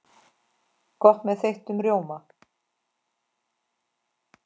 Gott með þeyttum rjóma!